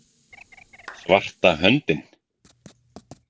Svarta höndin